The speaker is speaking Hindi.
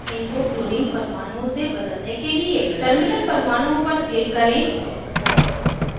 इनको clorine परमाणुओं से बदलने के लिए terminal परमाणुओं पर click करें